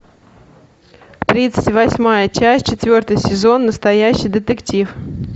тридцать восьмая часть четвертый сезон настоящий детектив